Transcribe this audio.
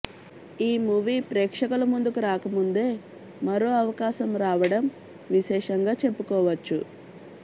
ఈమూవీ ప్రేక్షకుల ముందుకు రాకముందే మరో అవకాశం రావడం విశేషంగా చెప్పుకోవచ్చు